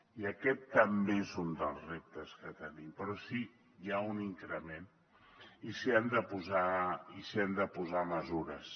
i aquest també és un dels reptes que tenim però sí que hi ha un increment i s’hi han de posar mesures